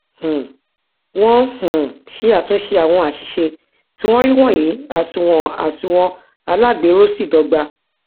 um wọn um ṣe àtúnṣe àwọn àṣìṣe tí wọn rí wọnyí àsunwon àsunwon alágbèéró sì dọgba